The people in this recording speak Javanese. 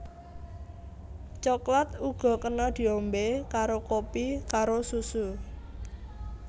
Coklat uga kena diombé karo kopi karo susu